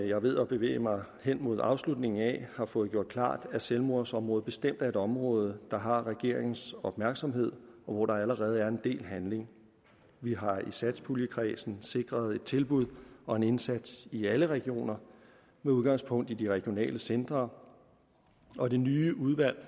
jeg er ved at bevæge mig hen mod afslutningen af har fået gjort klart at selvmordsområdet bestemt er et område der har regeringens opmærksomhed og hvor der allerede er en del handling vi har i satspuljekredsen sikret et tilbud og en indsats i alle regioner med udgangspunkt i de regionale centre og det nye udvalg